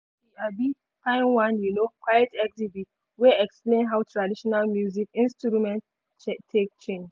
she um find one um quiet exhibit wey explain how traditional music instrument take change.